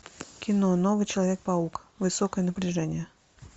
кино новый человек паук высокое напряжение